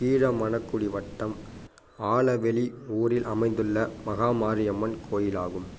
கீழமணக்குடி வட்டம் ஆலவேலி ஊரில் அமைந்துள்ள மகாமாரியம்மன் கோயிலாகும்